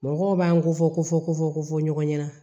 Mɔgɔw b'an kofɔ kofɔ kofɔ ɲɔgɔn ɲɛna